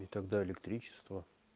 и тогда электричество